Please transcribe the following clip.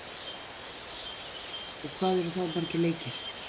og hvað eru það margir leikir?